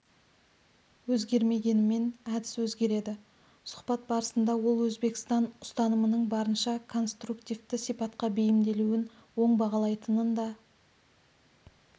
өзгермегенімен әдіс өзгереді сұхбат барысында ол өзбекстан ұстанымының барынша конструктивті сипатқа бейімделуін оң бағалайтынын да